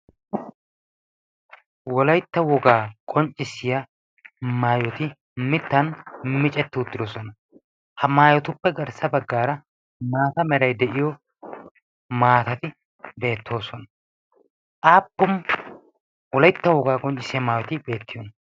wolaitta wogaa qonccissiya maayoti mittan micetti uttidosona ha maayotuppe garssa baggaara maata meray de'iyo maatati beettoosona aappu wolaitta wogaa qonccissiya maayoti beettiyoona?